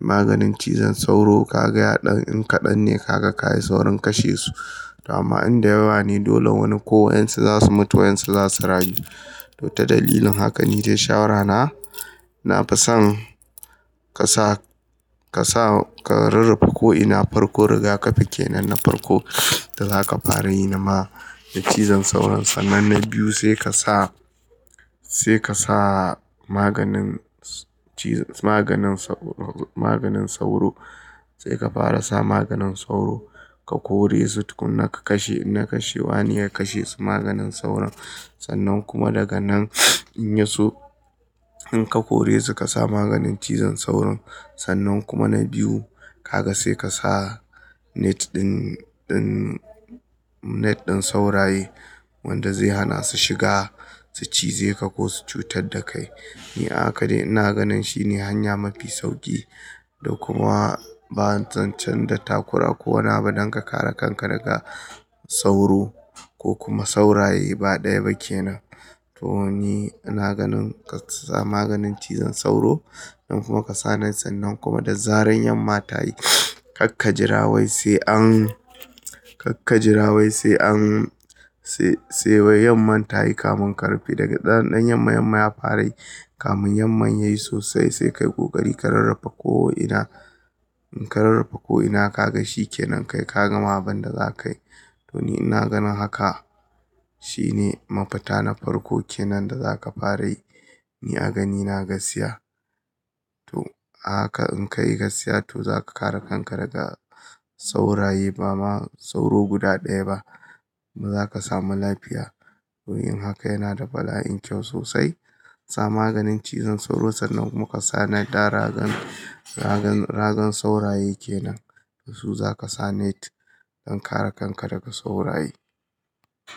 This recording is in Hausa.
maganin cizon sauro ka ga ya ɗan in kaɗan ne ka ga ka yi saurin kashe su. Dama in da yawa ne dole wani ko wa'insa za su mutu waɗansu za su rayu. To ta dalilin haka ni ce shawara na. Na fi son ka sa, ka sa ka rarrafa ko'ina farko riga kafe kenan na farko da za ka fara yi na maganin cizon sauron. Sannan na biyu sai ka sa, sai ka sa maganin ci-, maganin sau-, maganin sauro. Sai ka fara sa maganin sauro. Ka kore su tun na ka kashe, na kashe wani ya kashe su maganin sauron. Sannan kuma daga nan in ya so in ka kore su ka sa maganin cizon sauron. Sannan kuma na biyu ka ga sai ka sa net ɗin, ɗin, net ɗin sauraye wanda zai hana su shiga su cize ka ko su cutar da kai. Ni haka ne na ganin shi ne hanya mafi sauƙi da kuma ba zancen da takura ko wani abu don ka kare kanka daga sauro ko kuma sauraye. Ba ɗaya ba kenan. To ni na ganin ka sa maganin cizon sauro. Don kuma ka sa net din sannan kuma da zaran yamma ta yi ka kajirawai sai an, ka kajirawai sai an, sai, sai wai yamma ta yi kamun ka rufe daga ɗanɗan yamma yamma ya fara yi. Kamun yamma yayi sosai sai kai ƙoƙari ka rarrafa ko'ina. Ka rarrafa ko'ina ka ga shi kenan kai ka gama abin da za ka yi. To ni na ganin haka. Shi ne mafita na farko kenan da za ka fara yi. Ni a ganin na gaskiya. To a haka in ka yi gaskiya to za ka kare kanka daga sauraye ba ma sauro guda ɗaya ba. Zuwa za ka samu lafiya. Don yin haka yana da fa'ida kyau sosai. Sa maganin cizon sauro sannan kuma ka sa naɗa ragan, ragan, ragan sauraye kenan. Da su za ka sa net don kare kanka daga sauraye.